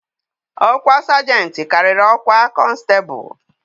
Ọkwa Sajentị karịrị ọkwa konstebụ.